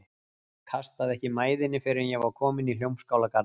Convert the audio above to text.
Kastaði ekki mæðinni fyrr en ég var kominn í Hljómskálagarðinn.